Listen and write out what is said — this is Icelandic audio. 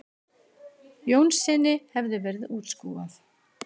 Jónssyni hefði verið útskúfað.